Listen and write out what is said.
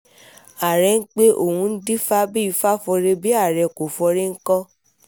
àárẹ̀ ń pẹ́ o ò ń dìfà bí ifá fọre bí àárẹ̀ kò fọre ńkọ́